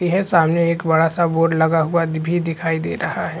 ती है सामने एक बड़ा सा बोर्डे लगा हुआ भी दिखाई दे रहा है।